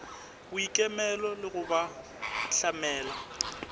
boikemelo le go ba hlamela